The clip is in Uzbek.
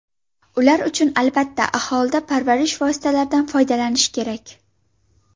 Ular uchun, albatta, alohida parvarish vositalaridan foydalanish kerak.